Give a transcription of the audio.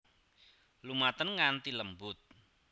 Lumaten nganti lembut